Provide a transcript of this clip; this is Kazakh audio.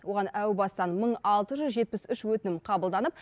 оған әу бастан мың алты жүз жетпіс үш өтінім қабылданып